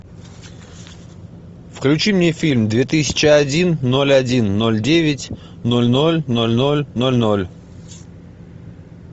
включи мне фильм две тысячи один ноль один ноль девять ноль ноль ноль ноль ноль ноль